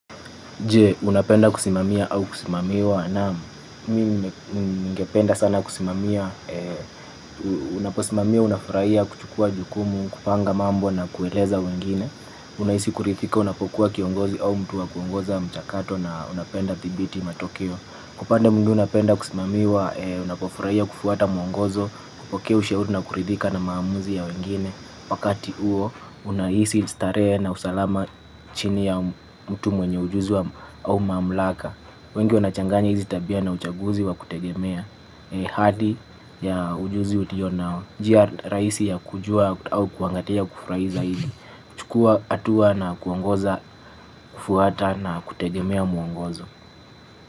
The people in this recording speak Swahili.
Je, unapenda kusimamia au kusimamiwa? Naam, mimi ningependa sana kusimamia, unaposimamia, unafurahia kuchukua jukumu, kupanga mambo na kueleza wengine, unahisi kuridhika unapokuwa kiongozi au mtu wa kuongoza mchakato na unapenda thibiti matokeo. Kupande mduna penda kusimamiwa, unapofurahia kufuata mwangozo, kupoke usheudu na kuridhika na maamuzi ya wengine. Wakati huo, unahisi starehe na usalama chini ya mtu mwenye ujuzi wa au maamlaka. Wengi wanachanganya hizi tabia na uchaguzi wa kutegemea. Hadi ya ujuzi uliyonao njia rahisi ya kujua au kuangalia kufurahi zaidi. Chukua hatua na kuongoza kufuata na kutegemea mwongozo.